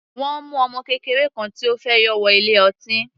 Wọ́n mu ọmọ kékeré kan tí ó fẹ́ yọ wọ ilé ọtí.